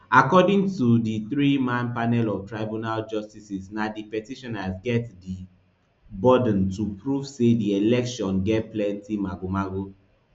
according to di threeman panel of tribunal justices na di petitioners get di burden to prove say di election get plenty magomago